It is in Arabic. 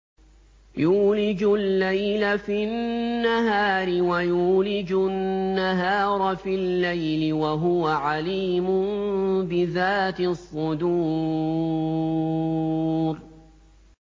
يُولِجُ اللَّيْلَ فِي النَّهَارِ وَيُولِجُ النَّهَارَ فِي اللَّيْلِ ۚ وَهُوَ عَلِيمٌ بِذَاتِ الصُّدُورِ